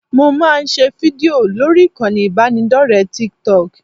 Mo máa ń ṣe fídìò lórí ìkànnì ìbánidọ́rẹ̀ẹ́ Tiktok